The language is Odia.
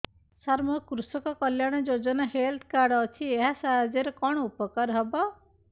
ସାର ମୋର କୃଷକ କଲ୍ୟାଣ ଯୋଜନା ହେଲ୍ଥ କାର୍ଡ ଅଛି ଏହା ସାହାଯ୍ୟ ରେ କଣ ଉପକାର ହବ